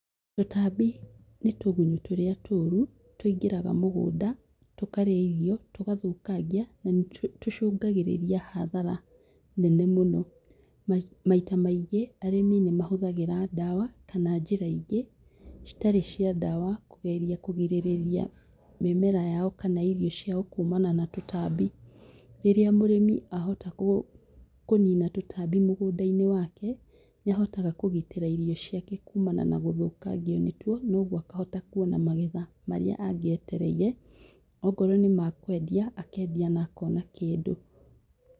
Tũtambi nĩ tũgunyũ tũrĩa tũũru tũingĩraga mũgũnda, tũkarĩa irio, tũgathũkangia, na nĩtũcũngagĩrĩria hathara nene mũno. Maita maingĩ, arĩmi nĩ mahũthagĩra ndawa kana njĩra ingĩ citarĩ cia ndawa kũgeria kũgĩrĩria mĩmera yao kana irio ciao kuumana na tũtambi. Rĩrĩa mũrĩmi ahota kũnina tũtambi mũgũnda-inĩ wake, nĩahotaga kũgitĩra irio ciake kuumana na gũthũkangio nĩ tuo, na ũguo akahota kũona magetha marĩa angĩetereire, ongorwo nĩ ma kwendia, akendia na akona kĩndũ.